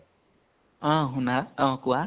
অ শুনা । অ কোৱা ।